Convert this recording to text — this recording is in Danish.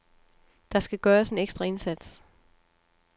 Der skal gøres en ekstra indsats.